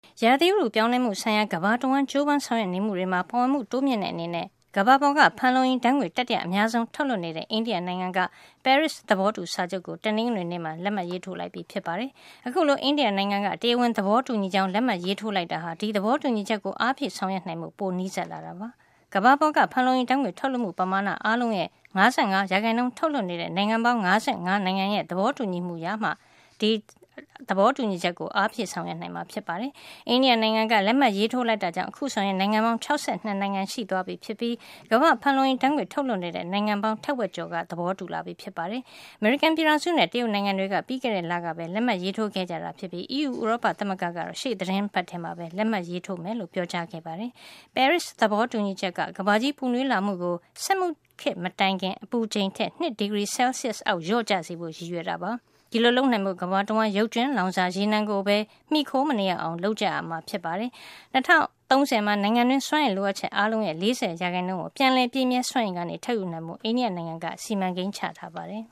ရာသီဥတု ပြောင်းလဲမှုဆိုင်ရာ ကမ္ဘာတဝှမ်း ကြိုးပမ်း ဆောင်ရွက်နေမှုတွေမှာ ပါဝင်မှု တိုးမြှင့်တဲ့ အနေနဲ့၊ ကမ္ဘာပေါ်က ဖန်လုံအိမ်ဓါတ်ငွေ့ တတိယ အများဆုံး ထုတ်လွှတ်နေတဲ့ အိန္ဒိယ နိုင်ငံက ပဲရစ် သဘောတူစာချုပ်ကို တနင်္ဂနွေနေ့မှာ လက်မှတ်ရေးထိုးလိုက်ပြီဖြစ်ပါတယ်။ အခုလို အိန္ဒိယနိုင်ငံက တရားဝင် သဘောတူညီကြောင်း လက်မှတ်ရေးထိုးလိုက်တာဟာ ဒီသဘောတူညီချက်ကို အားဖြည့်ဆောင်ရွက် နိုင်ဖို့ ပိုနီးစပ်လာတာ ဖြစ်ပါတယ်။ ကမ္ဘာပေါ်က ဖန်လုံအိမ်ဓါတ်ငွေ့ ထုတ်လွှတ်မှု ပမာဏ အားလုံးရဲ့ ၅၅ % ထုတ်လွှတ်နေတဲ့ နိုင်ငံပေါင်း ၅၅ နိုင်ငံရဲ့ သဘောတူညီမှုရမှ ဒီသဘောတူညီချက်ကို အားဖြည့် ဆောင်ရွက်နိုင်မှာ ဖြစ်ပါတယ်။ အိန္ဒိယနိုင်ငံက လက်မှတ် ရေးထိုးလိုက်တာကြောင့် အခုဆိုရင် နိုင်ငံပေါင်း ၆၂ နိုင်ငံ ရှိသွားပြီဖြစ်ပြီး ကမ္ဘာ့ဖန်လုံအိမ်ဓါတ်ငွေ့ ထုတ်လွှတ်နေတဲ့ နိုင်ငံပေါင်း ထက်ဝက်ကျော် သဘောတူလာပြီဖြစ်ပါတယ်။ အမေရိကန် ပြည်ထောင်စုနဲ့ တရုတ်နိုင်ငံတွေက ပြီးခဲ့တဲ့ လကပဲ လက်မှတ်ရေးထိုးခဲ့ကြတာ ဖြစ်ပြီး အီးယူ ဥရောပ သမဂ္ဂကတော့ ရှေ့သီတင်းပတ်ထဲမှာ လက်မှတ်ရေးထိုးမယ်လို့ ပြောကြားခဲ့ပါတယ်။ ပဲရစ်သဘောတူညီချက်က ကမ္ဘာကြီးပူနွေးလာမှုကို စက်မှုခေတ် မတိုင်ခင်က အပူချိန်ထက် ၂ ဒီဂရီ Celsius အောက် လျော့ကျစေဖို့ ရည်ရွယ် တာပါ။ ဒီလိုလုပ်နိုင်ဖို့ ကမ္ဘာတဝှမ်း ရုပ်ကြွင်းလောင်စာ ရေနံကိုပဲ မှီခို မနေရအောင် လုပ်ကြမှာ ဖြစ်ပါတယ်။ ၂၀၃၀ မှာ နိုင်ငံတွင်း စွမ်းအင်လိုအပ်ချက် အားလုံးရဲ့ ၄၀ % ကို ပြန်လည်ပြည့်မြဲ စွမ်းအင်ကနေ ထုတ်ယူဖို့ အိန္ဒိယ နိုင်ငံက စီမံကိန်း ချထားပါတယ်